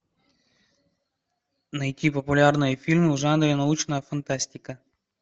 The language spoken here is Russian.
найти популярные фильмы в жанре научная фантастика